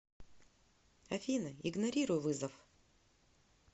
афина игнорируй вызов